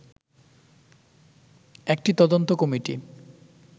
একটি তদন্ত কমিটি